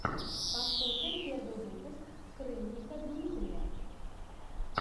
пошукай первый выпуск скрынника дмитрия